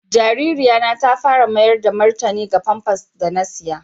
Jaririyan na ta fara mayar da martani ga pampas da na saƴa.